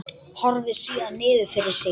Horfir síðan niður fyrir sig.